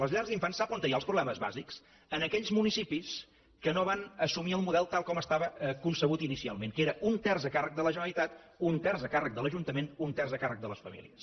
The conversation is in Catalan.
a les llars d’infants sap on hi ha els problemes bàsics en aquells municipis que no van assumir el model tal com estava concebut inicialment que era un terç a càrrec de la generalitat un terç a càrrec de l’ajuntament un terç a càrrec de les famílies